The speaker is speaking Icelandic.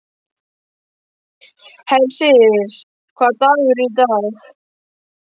Hersir, hvaða dagur er í dag?